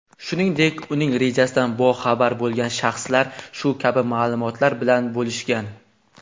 shuningdek uning rejasidan boxabar bo‘lgan shaxslar shu kabi ma’lumotlar bilan bo‘lishgan.